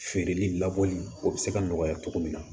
Feereli labɔli o bɛ se ka nɔgɔya cogo min na